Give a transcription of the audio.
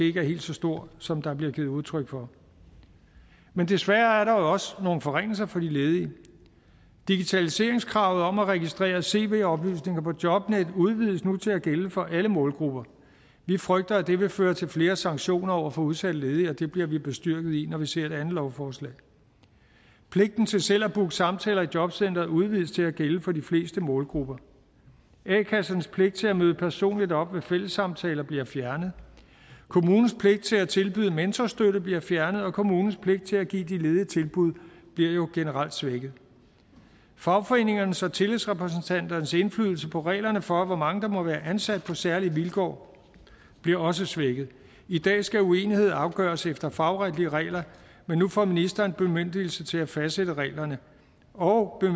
ikke er helt så stor som der bliver givet udtryk for men desværre er der også nogle forringelser for de ledige digitaliseringskravet om at registrere cv oplysninger på jobnet udvides nu til at gælde for alle målgrupper vi frygter at det vil føre til flere sanktioner over for udsatte ledige og det bliver vi bestyrket i når vi ser det andet lovforslag pligten til selv at booke samtaler i jobcenteret udvides til at gælde for de fleste målgrupper a kassernes pligt til at møde personligt op ved fællessamtaler bliver fjernet kommunens pligt til at tilbyde mentorstøtte bliver fjernet og kommunens pligt til at give de ledige tilbud bliver generelt svækket fagforeningernes og tillidsrepræsentanternes indflydelse på reglerne for hvor mange der må være ansat på særlige vilkår bliver også svækket i dag skal uenighed afgøres efter fagretlige regler men nu får ministeren bemyndigelse til at fastsætte reglerne og